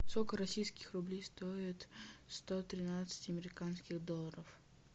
сколько российских рублей стоит сто тринадцать американских долларов